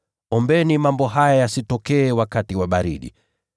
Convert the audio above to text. Ombeni mambo haya yasitokee wakati wa baridi.